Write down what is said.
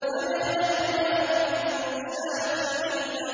فَمَا لَنَا مِن شَافِعِينَ